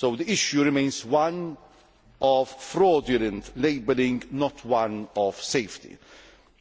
The issue remains one of fraudulent labelling, not one of safety.